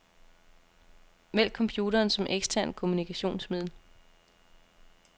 Vælg computeren som eksternt kommunikationsmiddel.